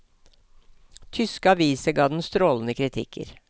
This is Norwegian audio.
Tyske aviser ga den strålende kritikker.